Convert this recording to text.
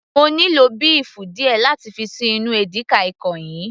mo nílò béèfù díẹ̀ láti fi ṣí inú edika-ekong yìí